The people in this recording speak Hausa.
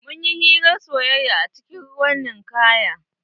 Mun yi hirar soyaya a cikin ruwan ninkaya.